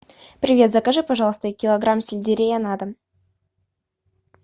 привет закажи пожалуйста килограмм сельдерея на дом